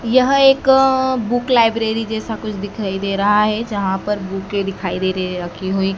यह एक book library जैसा कुछ दिखाई दे रहा है जहां पर बुके दिखाई दे रही है रखी हुई।